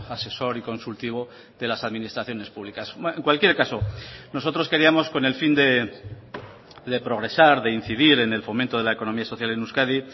asesor y consultivo de las administraciones publicas en cualquier caso nosotros queríamos con el fin de progresar de incidir en el fomento de la economía social en euskadi